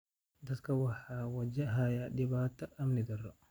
Dadka ayaa wajahaya dhibaatada amni darro.